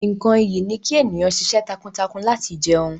Nkán ìyí ni ki eniyan ṣiṣẹ́ takuntakun lati jẹun.